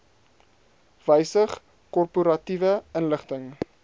wysig korporatiewe inligting